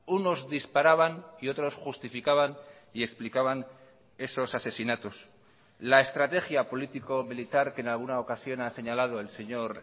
unos disparaban y otros justificaban y explicaban esos asesinatos la estrategia político militar que en alguna ocasión ha señalado el señor